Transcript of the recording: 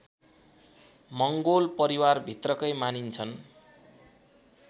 मङ्गोल परिवारभित्रकै मानिन्छन्